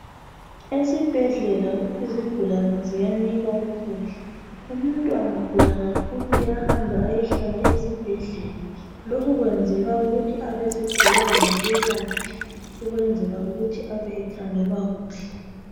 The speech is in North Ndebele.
Esibhedlela izigulane ziyanikwa ukudla Umuntu angagula kakhulu uyahamba eyehlala esibhedlela. Lokhu kwenzelwa ukuthi abeseduze labelaphi ukwenzela ukuthi abekhangelwa kuhle.